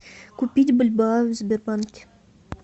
купить бальбоа в сбербанке